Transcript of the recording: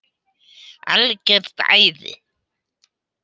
Algjört æði.